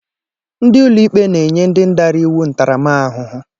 Ndị ụlọikpe na-enye ndị dara iwu ntaramahụhụ.